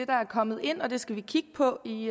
der er kommet ind det skal vi kigge på i